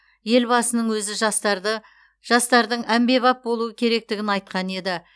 елбасының өзі жастарды жастардың әмбебап болуы керектігін айтқан еді